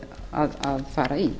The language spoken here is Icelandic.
að fara í